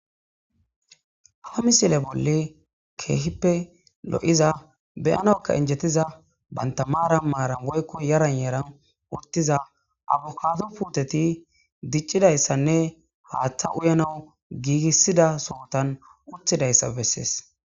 Ha misile bolli keehippe lo'iza beyanawuka injetiza banta marani marani woyko yarani yarani utiza abokado puuteti dicizaysanne haata uyanawu giigisida sohotani utidaysa beses.